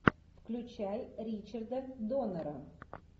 включай ричарда доннера